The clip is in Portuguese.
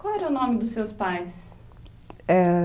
Qual era o nome dos seus pais?